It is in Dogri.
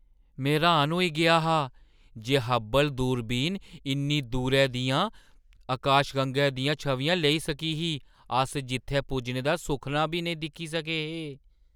में र्‌हान होई गेआ हा जे हब्बल दूरबीन इन्नी दूरै दियें आकाशगंगाएं दियां छवियां लेई सकी ही अस जित्थै पुज्जने दा सुखना बी नेईं दिक्खी सके हे!